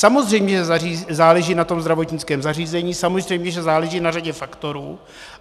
Samozřejmě, že záleží na tom zdravotnickém zařízení, samozřejmě, že záleží na řadě faktorů.